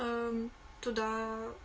туда